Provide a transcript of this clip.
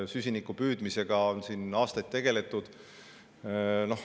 Süsiniku püüdmisega on aastaid tegeletud.